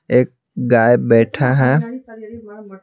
एक गाय बैठा है।